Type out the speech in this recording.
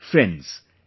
Friends,